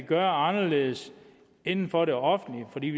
gøre anderledes inden for det offentlige